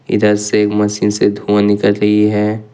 इधर से ए मशीन से धुंआ निकल रही है।